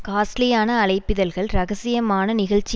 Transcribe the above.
காஸ்ட்லியான அழைப்பிதழ்கள் ரகசியமான நிகழ்ச்சி